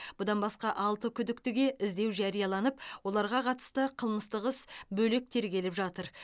бұдан басқа алты күдіктіге іздеу жарияланып оларға қатысты қылмыстық іс бөлек тергеліп жатыр